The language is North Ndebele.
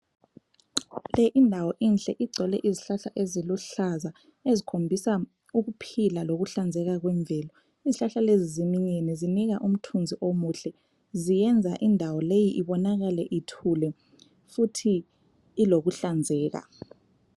Le indawo inhle, igcwele izihlahla eziluhlaza. Ezikhombisa ukuphila lokuhlanzeka kwemvelo. Izihlahla lezi ziminyene, zinika umthunzi omuhle. Ziyenza indawo leyi ibonakale ithule futhi ilokuhlanzeka.